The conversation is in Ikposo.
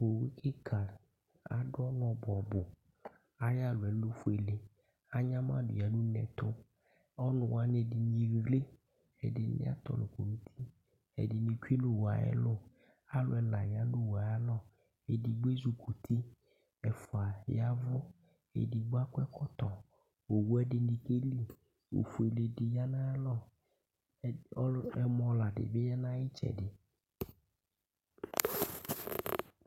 owú kika, adù ɔnu ɔbuɔbu, ayi alɔɛ lɛ ofuele anyamadu ya nu uneɛtu, ɔnuwani ɛdini eɣle ,ɛdini atɔlɔ kɔ n'uti, ɛdini tsué nu owuɛ ayɛlu, alù ɛla ya nu owúe aya lɔ, ɛdigbo ezukuti, ɛfua yaʋú , ɛdigbo akɔ ɛkɔtɔ, owue ɛdini ke li ,ofue di ya nu ayalɔ , ɔlu ɛmɔ̀ la di bi ya nu ayi itsɛdi